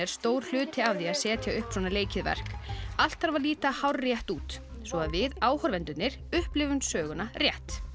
stór hluti af því að setja upp svona leikið verk allt þarf að líta hárrétt út svo við áhorfendurnir upplifum söguna rétt